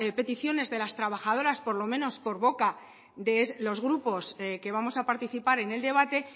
peticiones de las trabajadoras por lo menos de boca de los grupos que vamos a participar en el debate